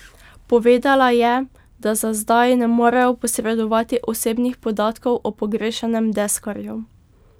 Povedala je, da za zdaj ne morejo posredovati osebnih podatkov o pogrešanem deskarju.